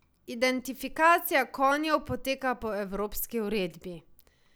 Identifikacija konjev poteka po evropski uredbi.